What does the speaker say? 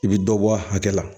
I bi dɔ bɔ a hakɛ la